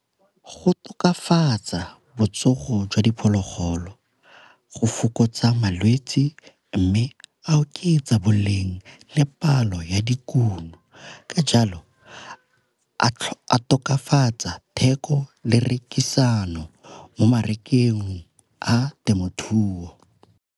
Go tokafatsa botsogo jwa diphologolo go fokotsa malwetsi, mme a oketsa boleng le palo ya dikuno ka jalo a tokafatsa theko le rekisano mo a temothuo.